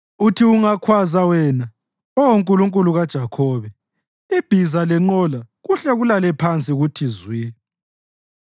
Uthi ungakhwaza wena, Oh Nkulunkulu kaJakhobe, ibhiza lenqola kuhle kulale phansi kuthi zwi.